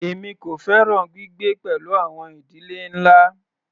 Èmi kò fẹ́ràn gbígbé pẹ̀lú àwọn ìdílé ńlá.